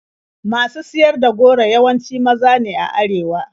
Masu siyar da goro yawanci maza ne a arewa.